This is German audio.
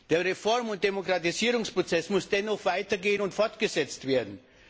Der Reform und Demokratisierungsprozess muss dennoch weitergehen und fortgesetzt werden.